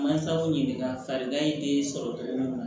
Mansaw ɲininka farilaya ye den sɔrɔ cogo min na